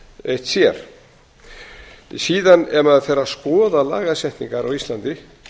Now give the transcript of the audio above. eitt sér síðan ef maður fer að skoða lagasetningar á íslandi